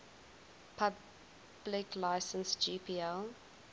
public license gpl